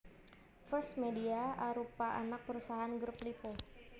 First Media arupa anak perusahaan Grup Lippo